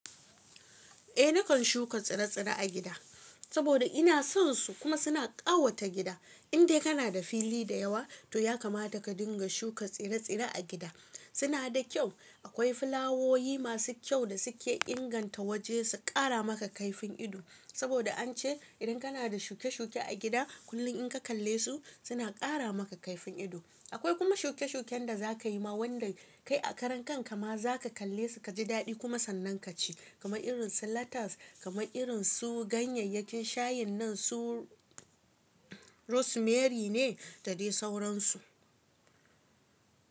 Eh nakan shuka tsire-tsire a gida, saboda ina son su kuma suna ƙawata gida. In dai kana da fili da yawa, to ya kamata ka dinga shuka tsire-tsire a gida. Suna da kyau. Akwai fulawowi masu kyau da suke inganta waje su ƙara maka kaifin ido, saboda an ce idan kana da shuke-shuke a gida, kullum in ka kalle su, suna ƙara maka kaifin ido. Akwai kuma shuke-shuken da za ka yi ma wanda kai a karan kan ka ma za ka kalle su ka ji daɗi kuma sannan ka ci. Kama irin su lettuce, kama irin su ganyayyakin shayin nan su rosemary ne da dai sauransu.